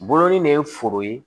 Bolonɔnin de ye foro ye